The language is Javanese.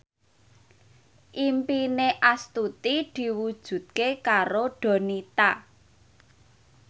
impine Astuti diwujudke karo Donita